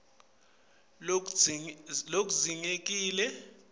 umongo locuketse lokudzingekile